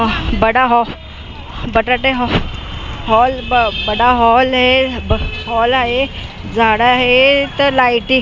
बडा बटाटे हॉल है ब हॉल आहे झाडं आहे तर लाईटी --